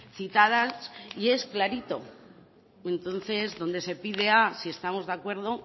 citadas y es clarito entonces donde se pide a si estamos de acuerdo